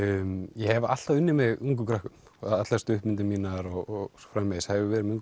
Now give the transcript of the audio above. ég hef alltaf unnið með ungum krökkum allar stuttmyndir mínar og svo framvegis það hefur verið með